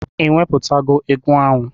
Ị wepụtago egwu ahụ?